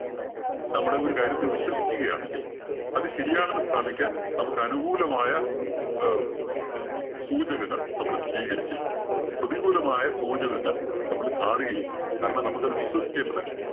നമ്മളെ ഒരു കാര്യത്തിൽ വിശ്വസിക്കുകയാണെങ്കിൽ, അത് ശരിയാണെന്നു സ്ഥാപിക്കാൻ നമുക്കനുകൂലമായ അഹ് സൂചനകൾ നമ്മള് സ്വീകരിക്കും. പ്രതികൂലമായ സൂചനകൾ നമ്മള് കാണുകയില്ല. കാരണം നമുക്കത് വിശ്വസിക്കേണ്ടത്